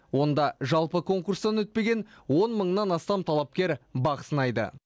онда жалпы конкурстан өтпеген он мыңнан астам талапкер бақ сынайды